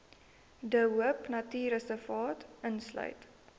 de hoopnatuurreservaat insluit